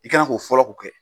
I kan ka fɔlɔ k'o kɛ.